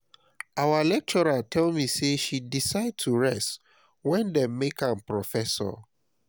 our lecturer tell me say she decide to rest wen dey make am professor